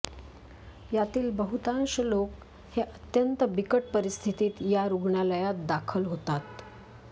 यातील बहुतांश लोक हे अत्यंत बिकट परिस्थितीत या रुग्णालयात दाखल होतात